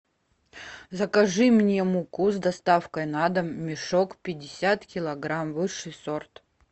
закажи мне муку с доставкой на дом мешок пятьдесят килограмм высший сорт